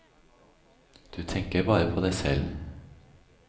Du tenker bare på deg selv.